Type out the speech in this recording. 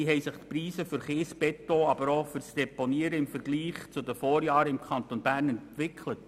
Wie haben sich die Preise für Kies und Beton sowie für das Deponiewesen im Vergleich zu den Vorjahren im Kanton Bern entwickelt?